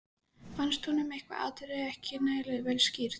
Fannst honum eitthvað atriði ekki nægilega vel skýrt.